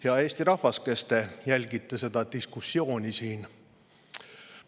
Hea Eesti rahvas, kes te jälgite seda diskussiooni siin!